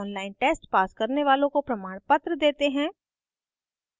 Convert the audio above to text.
online test pass करने वालोँ को प्रमाणपत्र देते हैं